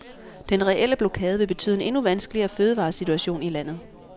Den reelle blokade vil betyde en endnu vanskeligere fødevaresituation i landet.